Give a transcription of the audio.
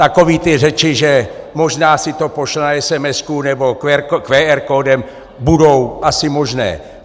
Takové ty řeči, že možná si to pošle na esemesku nebo QR kódem, budou asi možné.